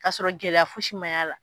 Ka sɔrɔ gɛlɛya fosi ma y'a la.